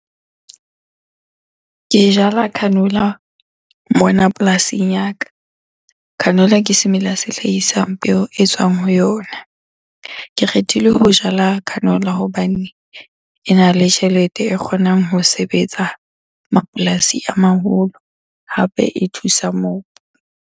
Ke jala canola mona polasing ya ka. Canola ke semela se hlahisang peo e tswang ho yona. Ke kgethile ho jala canola hobane ena le tjhelete e kgonang ho sebetsa mapolasi a maholo, hape e thusa mobu.